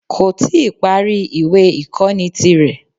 Kò tí ì parí ìwé ìkóni ti rè